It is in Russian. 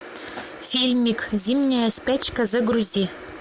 фильмик зимняя спячка загрузи